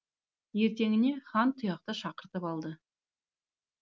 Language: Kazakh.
ертеңіне хан тұяқты шақыртып алды